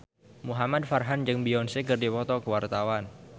Muhamad Farhan jeung Beyonce keur dipoto ku wartawan